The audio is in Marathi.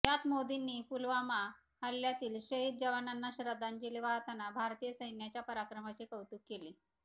यात मोदींनी पुलवामा हल्ल्यातील शहीद जवानांना श्रद्धांजली वाहताना भारतीय सैन्याच्या पराक्रमाचे कौतुक केले